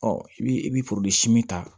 i bi i bi ta